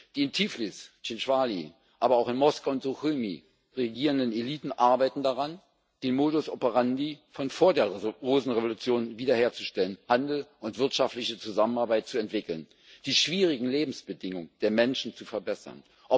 Die in Tiflis, Tchinwali, aber auch in Moskau und Suchumi regierenden Eliten arbeiten daran, den Modus operandi von vor der Rosenrevolution wieder herzustellen, Handel und wirtschaftliche Zusammenarbeit zu entwickeln, die schwierigen Lebensbedingungen der Menschen zu verbessern.